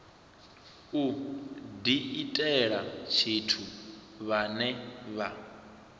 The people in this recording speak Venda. u diitela tshithu vhane vha